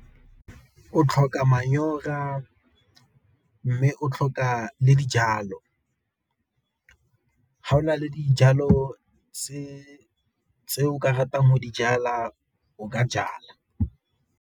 O tlhoka mme o tlhoka le dijalo, ga o na le dijalo tse o ka ratang go dijala o ka jala.